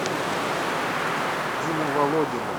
дина володина